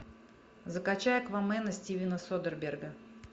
закачай аквамена стивена содерберга